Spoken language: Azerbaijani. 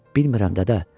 Bilmirəm, dədə.